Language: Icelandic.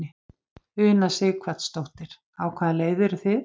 Una Sighvatsdóttir: Á hvaða leið eru þið?